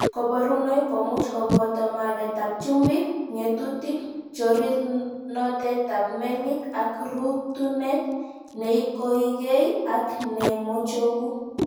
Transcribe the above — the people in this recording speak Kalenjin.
Koborunoik komuch koboto maketab chumbik, ng'etutik, chorirnotetab melik ak rutunet neikoekei ak nemochogu.